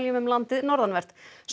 um landið norðanvert